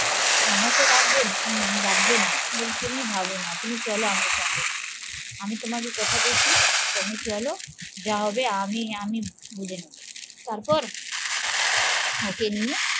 ঠাম্মা কে রাখবে? রাখবে না বলি তুমি ভাবো না তুমি চলো আমার সঙ্গে আমি তোমাকে কথা দিয়েছি তুমি চলো যা হবে আমি আমি বুঝে নেবো তারপর ওকে নিয়ে